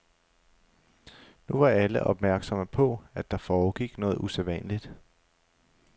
Nu var alle opmærksomme på, at der foregik noget usædvanligt.